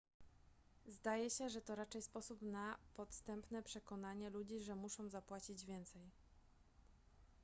zdaje się że to raczej sposób na podstępne przekonanie ludzi że muszą zapłacić więcej